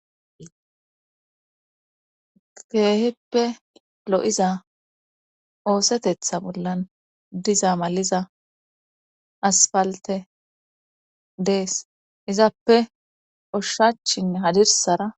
Keeheppe ilo7iza oosetetha bollan diza maliza asfalte dees izappe oshshachin hadirsara